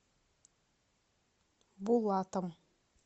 булатом